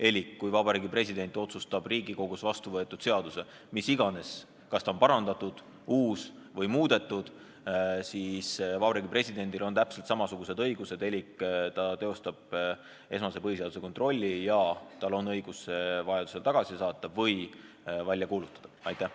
Elik kui Vabariigi President otsustab Riigikogus vastu võetud seaduse üle – kas ta on parandatud, uus või muudetud, mis iganes –, siis on Vabariigi Presidendil täpselt samasugused õigused, ta teostab põhiseaduslikkuse esmase kontrolli ja tal on õigus see seadus välja kuulutada või vajaduse korral tagasi saata.